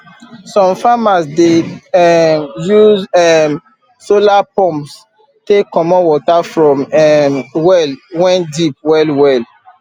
some farmers dey um use um solar pumps take comot water from um well wen deep well well